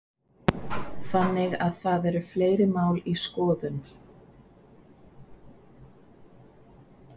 Þannig að það eru fleiri mál í skoðun?